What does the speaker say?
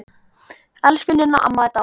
Elsku Ninna amma er dáin.